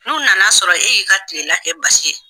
N'u nana sɔrɔ e y'i ka kilela kɛ basi ye